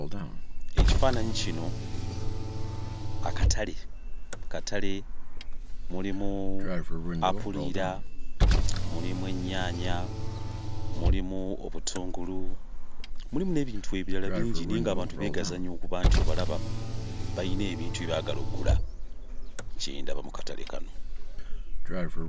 Ekifaananyi kino akatale. Akatale mulimu apuliira, mulimu ennyaanya, mulimu obutungulu, mulimu n'ebintu ebirala bingi naye ng'abantu beegazaanya okuba nti obalaba, bayina ebintu bye baagala oggula. Kye ndaba mu katale kano.